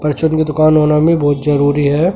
Fortune की दुकान होना मे बहुत जरूरी है।